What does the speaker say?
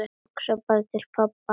Hugsaði til pabba.